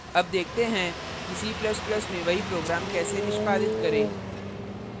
अब देखते हैं कि c ++ में वही program कैसे निष्पादित करें